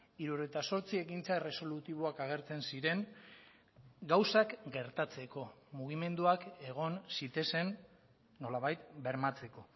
hirurogeita zortzi ekintza erresolutiboak agertzen ziren gauzak gertatzeko mugimenduak egon zitezen nolabait bermatzeko